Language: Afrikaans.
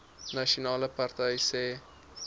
nasionale party sê